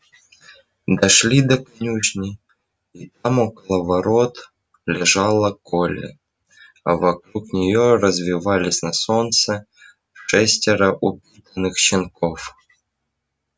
дошли до конюшни и там около ворот лежала колли а вокруг нее резвились на солнце шестеро упитанных щенков